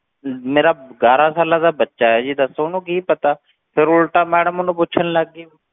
ਮੇਰਾ ਗਿਆਰਾਂ ਸਾਲਾਂ ਦਾ ਬੱਚਾ ਹੈ ਜੀ ਦੱਸੋ ਉਹਨੂੰ ਕੀ ਪਤਾ, ਫਿਰ ਉਲਟਾ madam ਉਹਨੂੰ ਪੁੱਛਣ ਲੱਗ ਗਈ,